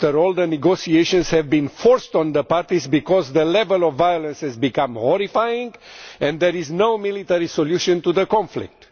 The negotiations have, after all, been forced on the parties because the level of violence has become horrifying and there is no military solution to the conflict.